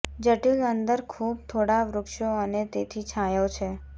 જટિલ અંદર ખૂબ થોડા વૃક્ષો અને તેથી છાંયો છે